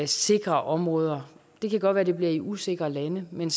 sikre områder det kan godt være at det bliver i usikre lande men